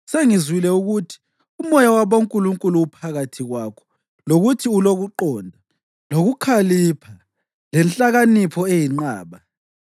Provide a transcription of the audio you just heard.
Sengizwile ukuthi umoya wabonkulunkulu uphakathi kwakho lokuthi ulokuqonda, lokukhalipha lenhlakanipho eyinqaba.